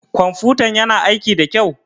Ƙwamfutan ƴana aiƙi ɗa kƴau?